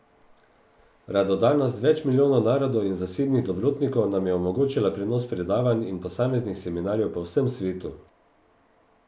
Radodarnost več milijonov narodov in zasebnih dobrotnikov nam je omogočila prenos predavanj in posameznih seminarjev po vsem svetu.